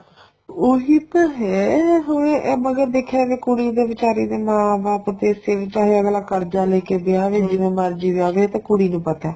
ਉਹੀ ਤਾਂ ਹੈ ਹੁਣ ਇਹ ਮਗਰ ਦੇਖਿਆ ਜਾਏ ਕੁੜੀ ਦੇ ਵਿਚਾਰੀ ਦੇ ਮਾਂ ਬਾਪ ਪੈਸੇ ਵੀ ਚਾਹੇ ਅੱਗਲਾ ਕਰਜਾ ਲੈ ਕੇ ਵਿਆਵੇ ਜਿਵੇਂ ਮਰਜੀ ਵਿਆਵੇ ਇਹ ਤਾਂ ਕੂੜੀ ਨੂੰ ਪਤਾ